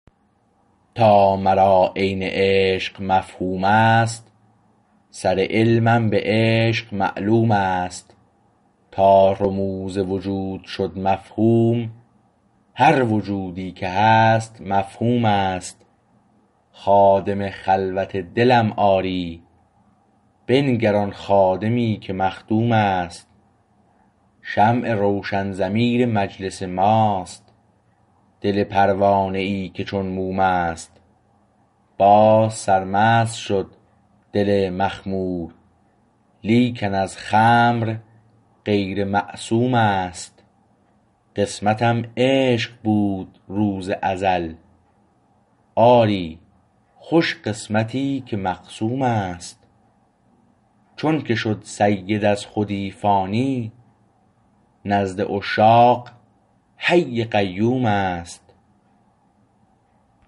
تا مرا عین عشق مفهوم است سر علمم به عشق معلوم است تا رموز وجود شد مفهوم هر وجودی که هست مفهومست خادم خلوت دلم آری بنگر آن خادمی که مخدومست شمع روشن ضمیر مجلس ماست دل پروانه ای که چون موم است باز سرمست شد دل مخمور لیکن از خمر غیر معصوم است قسمتم عشق بود روز ازل آری خوش قسمتی که مقسومست چون که شد سید از خودی فانی نزد عشاق حی قیوم است